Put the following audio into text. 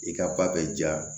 I ka ba bɛ ja